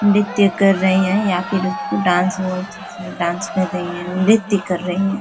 नृत्य कर रही हैं या फिर उसको डांस बोल सकते हैं। डांस कर रही हैं। नृत्य कर रही हैं।